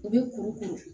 U bɛ kuru kuru